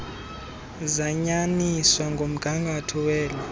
zayanyaniswa nomgangatho welo